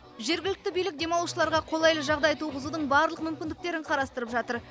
жергілікті билік демалушыларға қолайлы жағдай туғызудың барлық мүмкіндіктерін қарастырып жатыр